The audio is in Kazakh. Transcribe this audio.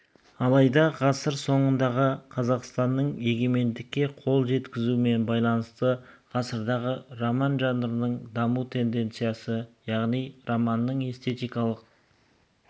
алайда ғасыр соңындағы қазақстанның егемендікке қол жеткізуімен байланысты ғасырдағы роман жанрының даму тенденциясы яғни романның эстетикалық